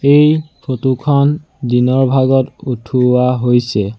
এই ফটো খন দিনৰ ভাগত উঠোৱা হৈছে।